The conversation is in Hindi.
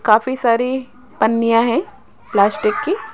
काफी सारी पन्निया हैं प्लास्टिक की।